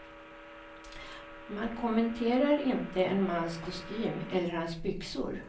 Man kommenterar inte en mans kostym eller hans byxor.